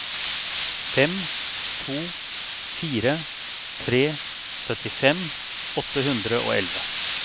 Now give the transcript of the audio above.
fem to fire tre syttifem åtte hundre og elleve